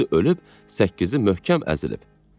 İkisi ölüb, səkkizi möhkəm əzilib.